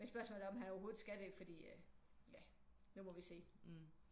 Men spørgsmålet er om han overhovedet skal det fordi at ja nu må vi se